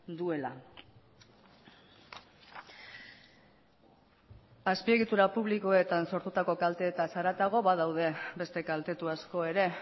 duela azpiegitura publikoetan sortutako kalteetaz haratago badaude beste kaltetu asko ere